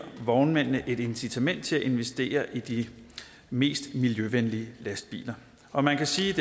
vognmændene et incitament til at investere i de mest miljøvenlige lastbiler og man kan sige